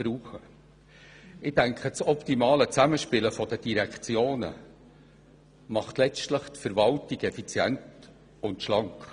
Das optimale Zusammenspiel der Direktionen macht die Verwaltung letztlich effizient und schlank.